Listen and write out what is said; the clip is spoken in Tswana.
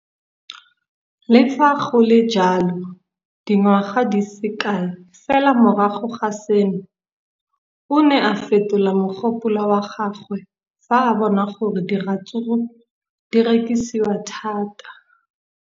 Le fa go le jalo, dingwaga di se kae fela morago ga seno, o ne a fetola mogopolo wa gagwe fa a bona gore diratsuru di rekisiwa thata.